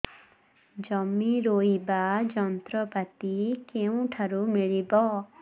ଜମି ରୋଇବା ଯନ୍ତ୍ରପାତି କେଉଁଠାରୁ ମିଳିବ